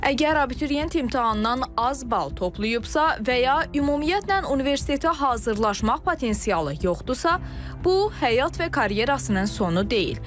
Əgər abituriyent imtahandan az bal toplayıbsa və ya ümumiyyətlə universitetə hazırlaşmaq potensialı yoxdursa, bu həyat və karyerasının sonu deyil.